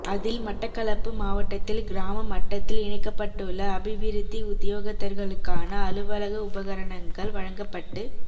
அதில் மட்டக்களப்பு மாவட்டத்தில் கிராம மட்டத்தில் இணைக்கப்பட்டுள்ள அபிவிருத்தி உத்தியோகத்தர்களுக்கான அலுவலக உபகரணங்கள் வழங்கப்பட்டுக்